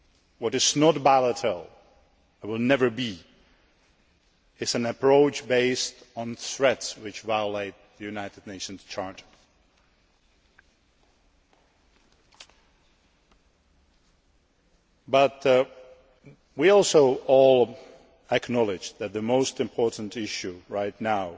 What is not volatile, and never will be, is an approach based on threats, which violates the United Nations Charter. But we all also acknowledge that the most important issues right now